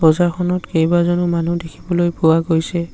বজাৰখনত কেইবাজনো মানুহ দেখিবলৈ পোৱা গৈছে।